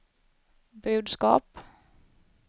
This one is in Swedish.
budskap